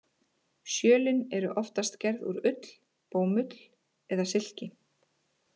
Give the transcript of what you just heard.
Sjölin eru oftast gerð úr ull, bómull eða silki.